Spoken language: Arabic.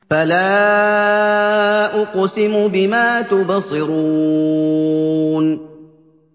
فَلَا أُقْسِمُ بِمَا تُبْصِرُونَ